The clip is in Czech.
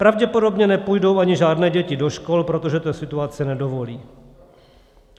Pravděpodobně nepůjdou ani žádné děti do škol, protože to situace nedovolí.